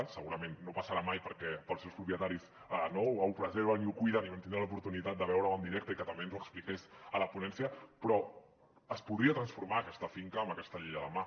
segurament no passarà mai perquè els seus propietaris ho preserven i ho cuiden i vam tindre l’oportunitat de veure ho en directe i que també ens ho expliqués a la ponència però es podria transformar aquesta finca amb aquesta llei a la mà